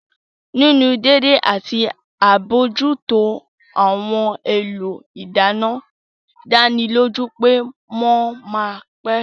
Nínú dédé àti àbójútó ohun èlò ìdáná dánilójú pé wọ́n ma pẹ́